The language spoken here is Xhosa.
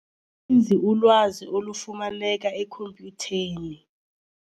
nzi ulwazi olufumaneka ekhompyutheni.